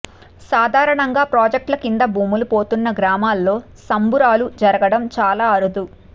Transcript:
సాధారణంగా ప్రాజెక్టుల కింద భూములు పోతున్న గ్రామాల్లో సంబురాలు జరగడం చాలా అరుదు